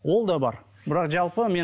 ол да бар бірақ жалпы мен